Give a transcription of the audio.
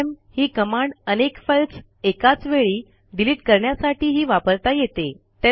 RM ही command अनेक files एकाच वेळी डिलिट करण्यासाठीही वापरता येते